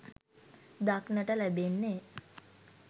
දක්නට ලැබෙන්නේ